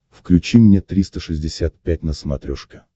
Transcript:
включи мне триста шестьдесят пять на смотрешке